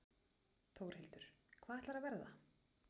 Þórhildur: Hvað ætlarðu að verða?